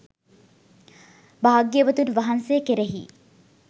භාග්‍යවතුන් වහන්සේ කෙරෙහි